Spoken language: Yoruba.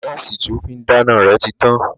Gáàsì tí ó fín dáná rẹ̀ ti tán